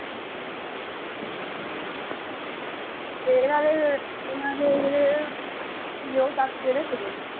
ਅੱਛਾ ਤੇ ਨਾਲ ਇਹਨਾਂ ਦੇ ਜਿਹੜੇ ਕੀ ਉਹ ਤੱਥ ਕਿਹੜੇ ਸੀਗੇ?